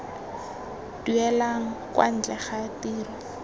duelang kwa ntle ga tiro